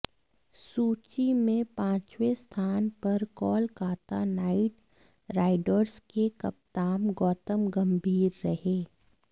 सूची में पांचवे स्थान पर कोलकाता नाइट राइडर्स के कप्तान गौतम गंभीर रहे